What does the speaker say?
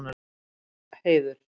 Heiður